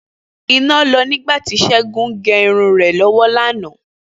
Iná lọ nígbà tí Ṣẹ́gun ń gẹ irun rẹ̀ lọ́wọ́ lánàá